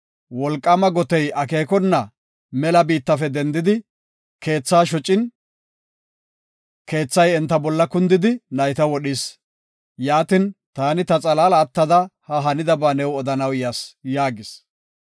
wolqaama gotey akeekona mela biittafe dendidi, keethaa shocin, keethay enta bolla kundidi nayta wodhis. Yaatin, taani ta xalaala attada ha hanidaba new odanaw yas” yaagis.